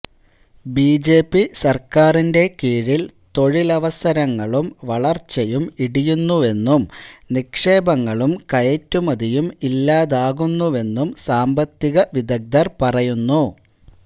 B J P സര്ക്കാറിന്റെ കീഴില് തൊഴിലവസരങ്ങളും വളര്ച്ചയും ഇടിയുന്നുവെന്നും നിക്ഷേപങ്ങളും കയറ്റുമതിയും ഇല്ലാതാകുന്നുവെന്നും സാമ്പത്തിക വിദഗ്ദര് പറയുന്നു